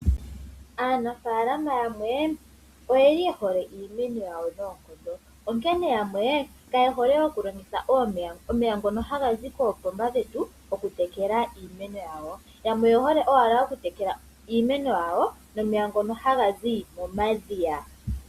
Aanfaalama yamwe oye li ye hole iimeno yawo noonkondo, onkene yamwe kaye hole okulongitha omeya ngoka haga zi koopomba dhetu, okutekela iimeno yawo. Yamwe oye hole owala okutekela iimeno yawo, nomeya ngoka haga zi momadhiya.